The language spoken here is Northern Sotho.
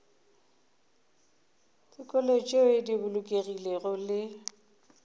dikolo tšeo di bolokegilego le